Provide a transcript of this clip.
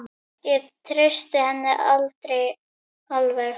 Ég treysti henni aldrei alveg.